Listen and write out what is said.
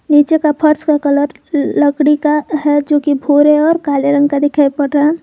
नीचे के फर्श का कलर लकड़ी का है जोकि भूरे और काले रंग का दिखाई पड़ रहा है।